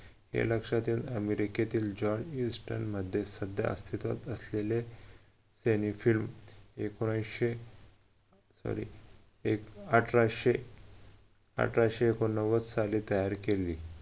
हे लक्षत येऊन अमेरिकेतील johninstant मध्ये सध्या अस्तित्वात असलेले एकोणविशे अठराशे अठराशे एकोणनव्वद साली तयार केले